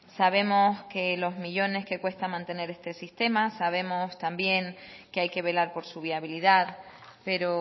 sabemos que los millónes que cuesta mantener este sistema sabemos también que hay que velar por su viabilidad pero